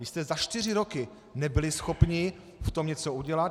Vy jste za čtyři roky nebyli schopni v tom něco udělat.